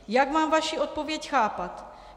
Jak mám vaši odpověď chápat?